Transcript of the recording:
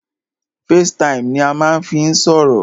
Facetime ni a máà ń fí n sọ̀rọ̀.